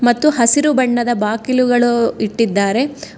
ಮತ್ತು ಹಸಿರು ಬಣ್ಣದ ಬಾಕಿಲುಗಳು ಇಟ್ಟಿದ್ದಾರೆ.